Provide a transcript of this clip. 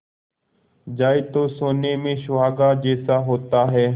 जाए तो सोने में सुहागा जैसा होता है